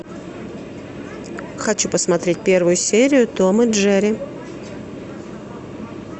хочу посмотреть первую серию том и джерри